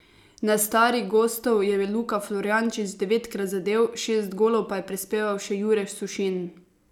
Na stari gostov je Luka Florjančič devetkrat zadel, šest golov pa je prispeval še Jure Sušin.